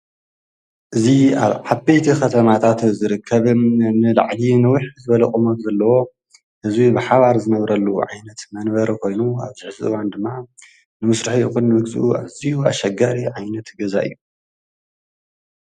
እዙ ኣብ ሓበይቲ ኸተማታት ዘርከብ ንልዕጊ ንዊሕ ዘበለ ቑመት ዘለዎ እዙይ ብሓባር ዘነብረሉ ዓይነት መንበረ ኾይኑ ኣብዚ ሕዚ እዋን ድማ ንምሥርሒ ዂንምግሡ ኣዙይ ኣሸጋሪ ዓይነት ገዛ እዩ።